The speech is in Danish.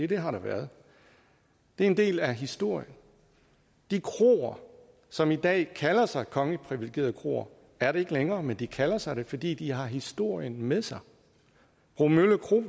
det har der været det er en del af historien de kroer som i dag kalder sig kongeligt privilegerede kroer er det ikke længere men de kalder sig det fordi de har historien med sig bromølle kro